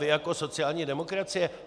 Vy jako sociální demokracie?